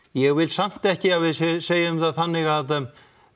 ég vil samt ekki að við segjum það þannig að